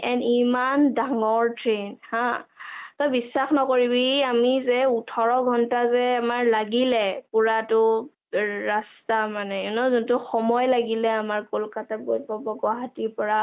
and ইমান ডাঙৰ train হা তই বিশ্বাস নকৰিবি যে আমি ওঠৰ ঘণ্টা যে আমাৰ লাগিলে পোৰাটো ৰাস্তা মানে you know যোনটো সময় লাগিল আমাৰ কলকতা গৈ পাব গুৱাহাটী গৈ পৰা